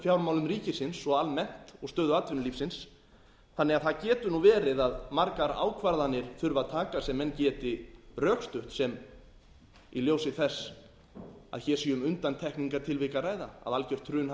fjármálum ríkisins og almennt og stöðu atvinnulífisins þannig að það getur nú verið að margar ákvarðanir þurfi að taka sem menn geti rökstutt í ljósi þess að hér sé um undantekningartilvik að ræða að algjört hrun hafi